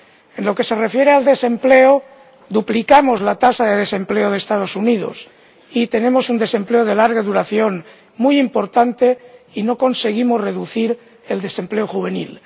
En lo que se refiere al desempleo, duplicamos la tasa de desempleo de Estados Unidos, tenemos un desempleo de larga duración muy importante, y no conseguimos reducir el desempleo juvenil.